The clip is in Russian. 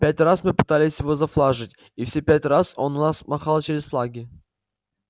пять раз мы пытались его зафлажить и все пять раз он у нас махал через флаги